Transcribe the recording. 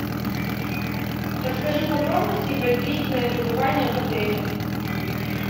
расскажи подробности про длительное пребывание в отеле